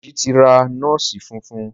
Deji tí ra nọọsi fufun.